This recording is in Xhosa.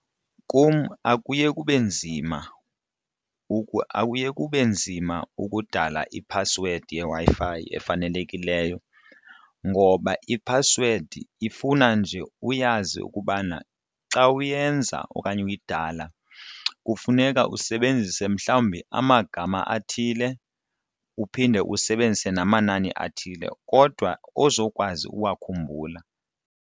Kum akuye kube nzima akuye kube nzima ukudala iphasiwedi yeWi-Fi efanelekileyo ngoba iphasiwedi ifuna nje uyazi ukubana xa uyenza okanye uyidala kufuneka usebenzise mhlawumbi amagama athile uphinde usebenzise namanani athile kodwa ozokwazi ukuwakhumbula.